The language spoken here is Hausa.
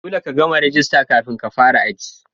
Dolle ka gama rajista kafin ka fara aji.